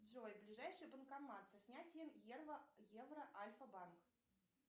джой ближайший банкомат со снятием евро альфа банк